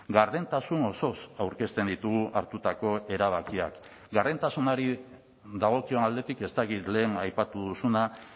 gardentasun osoz aurkezten ditugu hartutako erabakiak gardentasunari dagokion aldetik ez dakit lehen aipatu duzuna